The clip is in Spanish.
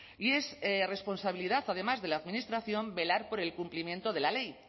y es responsabilidad además de la administración velar por el cumplimiento de la ley